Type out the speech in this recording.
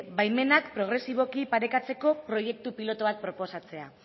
baimenak progresiboki parekatzeko proiektu pilotu bat proposatzea